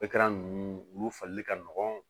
ninnu olu fali ka nɔgɔn